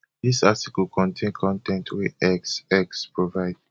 dis article contain con ten t wey x x provide